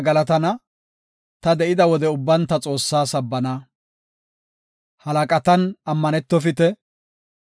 Halaqatan ammanetofite; ashshanaw danda7onna asa na7an ceeqetofite.